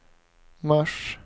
mars